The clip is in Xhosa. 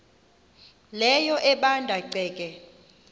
leyo ebanda ceke